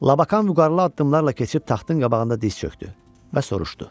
Labakan vüqarlı addımlarla keçib taxtın qabağında diz çökdü və soruşdu: